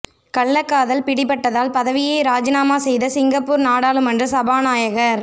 கள்ளக் காதல் பிடிப்பட்டதால் பதவியை ராஜினாமா செய்த சிங்கப்பூர் நாடாளுமன்ற சபாநாயகர்